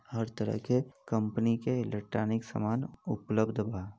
हर तरह के कंपनी के एलेक्ट्रॉनिक समान उपलब्ध बा।